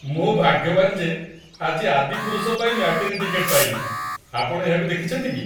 ମୁଁ ଭାଗ୍ୟବାନ ଯେ ଆଜି "ଆଦିପୁରୁଷ" ପାଇଁ ମ୍ୟାଟିନୀ ଟିକେଟ ପାଇଲି। ଆପଣ ଏହାକୁ ଦେଖିଛନ୍ତି କି?